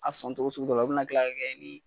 A sɔn togo sugu dɔ la, o bɛna kila kɛ